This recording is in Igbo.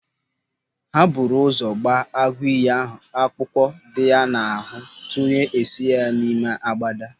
Ha buru ụzọ gbaa agụiyi ahụ akpụkpọ dị ya n'ahụ tupu ha esinye ya ime agbada.